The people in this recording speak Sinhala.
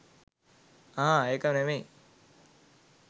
අහ් ඒක නෙමෙයි